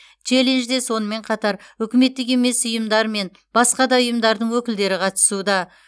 челленджде сонымен қатар үкіметтік емес ұйымдар мен басқа да ұйымдардың өкілдері қатысуда